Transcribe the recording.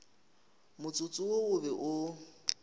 motsotso wo o be o